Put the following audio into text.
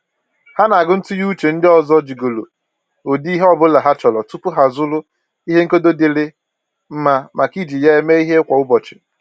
Ha na-agụ ntụnye uche ndị ọzọ jigoro ụdị ihe ọbụla ha chọrọ tupu ha azụrụ ihe nkedo dịịrị mma maka iji ya eme ihe kwa ụbọchị